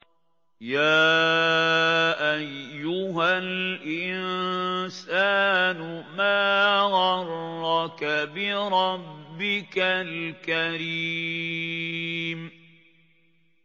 يَا أَيُّهَا الْإِنسَانُ مَا غَرَّكَ بِرَبِّكَ الْكَرِيمِ